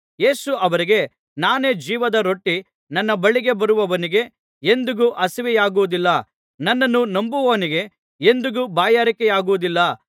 ಯೇಸು ಅವರಿಗೆ ನಾನೇ ಜೀವದ ರೊಟ್ಟಿ ನನ್ನ ಬಳಿಗೆ ಬರುವವನಿಗೆ ಎಂದಿಗೂ ಹಸಿವೆಯಾಗುವುದಿಲ್ಲ ನನ್ನನ್ನು ನಂಬುವವನಿಗೆ ಎಂದಿಗೂ ಬಾಯಾರಿಕೆಯಾಗುವುದಿಲ್ಲ